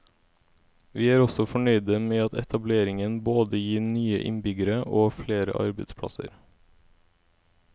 Vi er også fornøyde med at etableringen både gir nye innbyggere og flere arbeidsplasser.